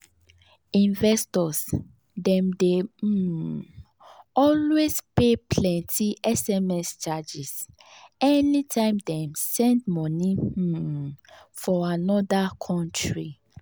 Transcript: investors dem dey um always pay plenty sms charges anytime dem send money um for another country